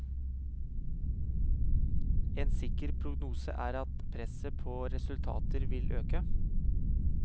En sikker prognose er at presset på resultater vil øke.